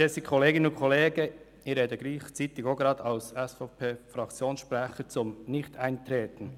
Ich spreche auch gleichzeitig als Fraktionssprecher der SVP zum Nichteintreten.